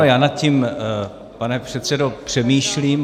Ano, já nad tím, pane předsedo, přemýšlím.